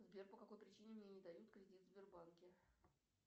сбер по какой причине мне не дают кредит в сбербанке